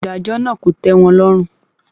Ìdájọ náà kò tẹ́ wọn lọ́rùn.